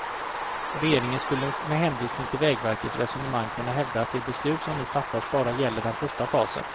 Regeringen skulle med hänvisning till vägverkets resonemang kunna hävda att det beslut som nu fattas bara gäller den första fasen.